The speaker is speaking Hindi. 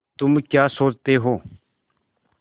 तुम क्या सोचते हो